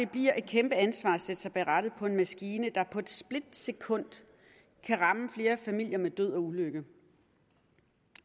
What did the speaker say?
bliver et kæmpe ansvar at sætte sig bag rattet på en maskine der på et splitsekund kan ramme flere familier med død og ulykke